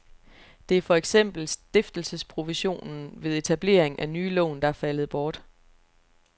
Det er for eksempel stiftelesesprovisionen ved etablering af nye lån, der er faldet bort.